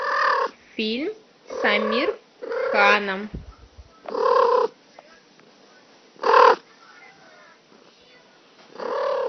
фильм с аамир кханом